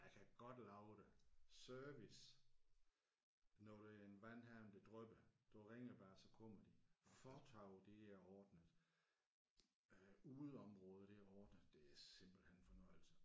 Jeg kan godt love dig service når der er en vandhane der drypper du ringer bare så kommer de fortovet det er ordnet øh udeområdet det er ordnet det er simpelthen en fornøjelse